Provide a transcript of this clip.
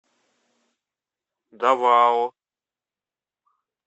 давао